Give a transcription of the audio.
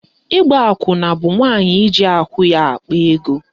Ịgba akwụna bụ nwaanyị iji ahụ ya akpa ego.